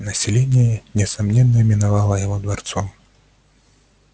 население несомненно именовало его дворцом